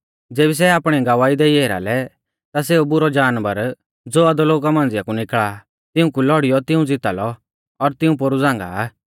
ज़ेबी सै आपणी गवाही देई एरा लै ता सेऊ बुरौ जानवर ज़ो अधोलोका मांझ़िया कु निकल़ा आ तिऊंकु लौड़ियौ तिऊं ज़िता लौ और तिऊं पोरु झ़ांगा आ